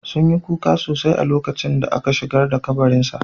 Sun yi kuka sosai a lokacin da aka shigar da kabarin sa